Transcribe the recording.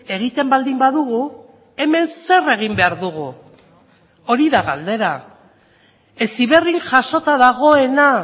egiten baldin badugu hemen zer egin behar dugu hori da galdera heziberrin jasota dagoena